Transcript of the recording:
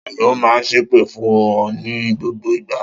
Ta ni ó máa ń ṣépè fún ọ ní gbogbo ìgbà?